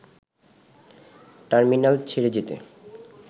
terminal ছেড়ে যেতে